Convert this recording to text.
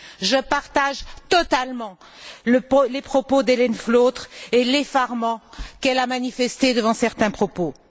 Je partage totalement les propos d'Hélène Flautre et l'effarement qu'elle a manifesté devant certains propos.